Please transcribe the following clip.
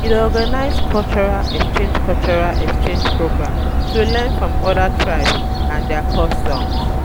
We dey organize cultural exchange cultural exchange programs to learn from other tribes and their customs.